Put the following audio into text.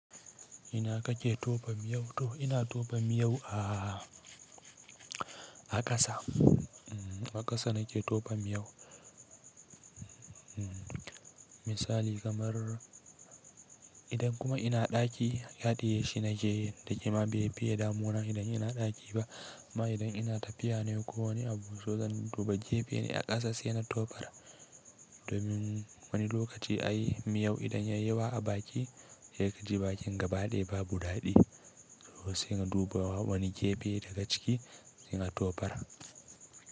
Ina kake tofa miyau to? Ina tofa miyau a, a ƙasa. A ƙasa nake tofan miyau. Misali kamar idan kuma ina ɗaki, haɗiye shi nakeyi da ƙema befiye damuna idan ina ɗaki ba. Amma idan ina tafiya ne ko wani abu, to zan duba gefe ne a ƙasa sai na tofar. Domin wani lokaci ai miyau idan yayi yawa a baki, sai kaji bakin gaba daya babu ɗaɗi. To sai na duba wani gefe daga ciki sai na tofar.